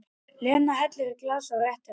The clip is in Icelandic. Lena hellir í glas og réttir henni.